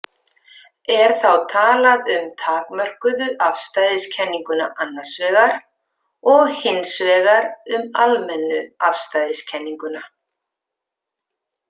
Er þá talað um takmörkuðu afstæðiskenninguna annars vegar og hins vegar um almennu afstæðiskenninguna.